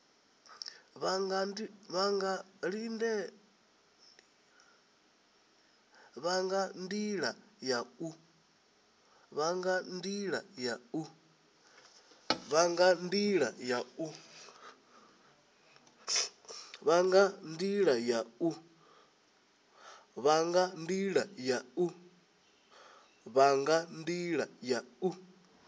vha nga ndila ya u